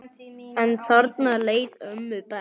En þarna leið ömmu best.